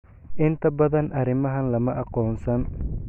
Inta badan arrimahan lama aqoonsan.